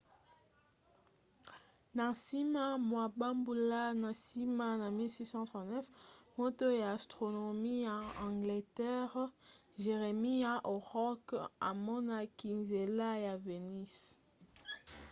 na nsima mwa bambula na nsima na 1639 moto ya astronomi ya angleterre jeremiah horrokc amonaki nzela ya venus